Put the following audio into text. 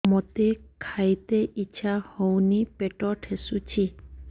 ମୋତେ ଖାଇତେ ଇଚ୍ଛା ହଉନି ପେଟ ଠେସୁଛି